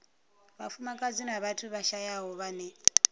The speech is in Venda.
vhafumakadzi na vhathu vhashayaho vhane